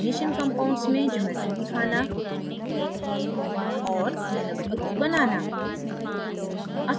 coordination compounds में geometries दिखाना और nanotubes बनाना